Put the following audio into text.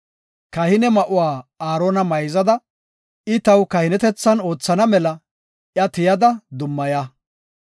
Kahine ma7uwa Aarona mayzada, I taw kahinetethan oothana mela iya tiyada, dummaya.